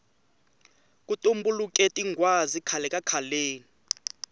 ku tumbuluke tinghwazi khale kakhaleni